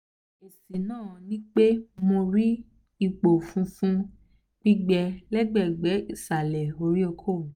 esi na nipe mo ri ipo funfun gbigbe lagbegbe isale ori oko mi